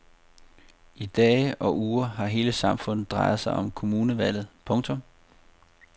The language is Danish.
I dage og uger har hele samfundet drejet sig om kommunevalget. punktum